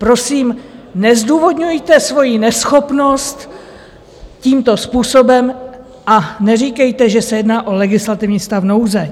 Prosím, nezdůvodňujte svoji neschopnost tímto způsobem a neříkejte, že se jedná o legislativní stav nouze.